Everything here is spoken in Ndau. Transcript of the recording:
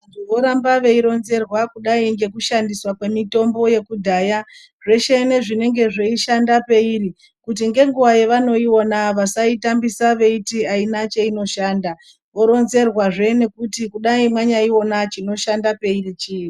Voramba vei ronzerwa kudai ngeku shandiswa kwe mitombo yekudhaya zveshe ne zvinenge zvei shanda peiri kuti nge nguva yevano iwona vasai tambisa veiti ayina cheino shanda woronzerwa zve nekuti kudai manyai ona chino shanda peiri chi.